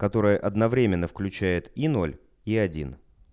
которое одновременно включает и ноль и один